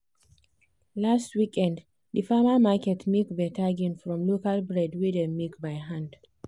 last weekend di farmer market make better gain from local bread wey dem bake by hand.